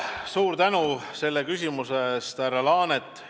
Suur tänu selle küsimuse eest, härra Laanet!